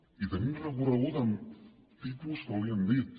i tenim recorregut amb tipus que li hem dit